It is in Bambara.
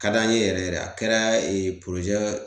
Ka d'an ye yɛrɛ yɛrɛ a kɛra ee